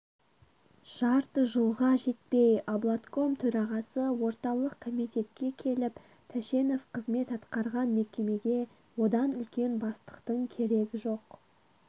жарты жылға жетпей облатком төрағасы орталық комитетке келіп тәшенов қызмет атқарған мекемеге одан үлкен бастықтың керег жоқ